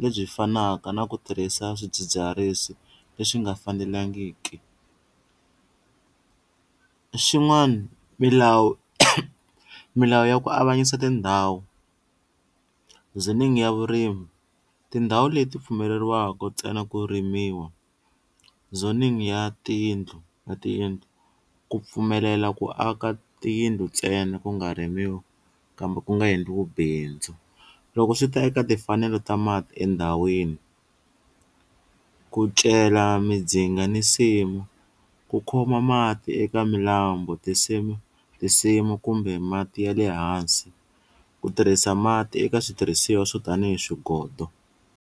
lebyi fanaka na ku tirhisa swidzidziharisi leswi nga fanelangiki, xin'wana milawu milawu ya ku avanyisa tindhawu ya vurimi, tindhawu leti pfumeleriwaku ntsena ku rimiwa ya tiyindlu ya tiyindlu ku pfumelela ku aka tiyindlu ntsena ku nga rimiwi kambe ku nga endliwi bindzu loko swi ta eka timfanelo ta mati endhawini, ku cela midzinga ni nsimu, ku khoma mati eka milambo tinsimu tinsimu kumbe mati ya le hansi ku tirhisa mati eka switirhisiwa swo tanihi swigodo.